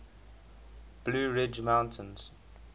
blue ridge mountains